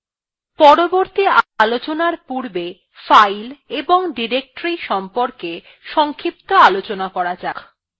পরবর্তী আলোচনার পূর্বে files এবং ডিরেক্টরীর সম্বন্ধে সংক্ষিপ্ত আলোচনা করা যাক